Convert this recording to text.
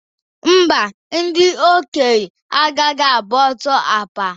Mba, ndị okenye agaghị agba ọsọ akpa.